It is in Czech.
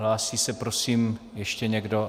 Hlásí se, prosím, ještě někdo?